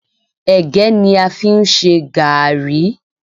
Ẹ̀gẹ́ ni a fi ń ṣe gààrí